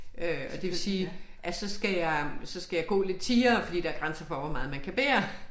Øh og det vil sige at så skal jeg så skal jeg gå lidt tiere fordi der grænser for hvor meget man kan bære